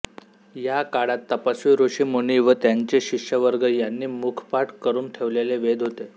या काळात तपस्वी ऋषि मुनीं व त्यांचे शिष्यवर्ग यांनी मुखपाठ करून ठेवलेले वेद होत